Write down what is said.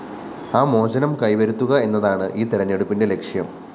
ആ മോചനം കൈവരുത്തുക എന്നതാണ് ഈ തെരഞ്ഞെടുപ്പിന്റെ ലക്ഷ്യം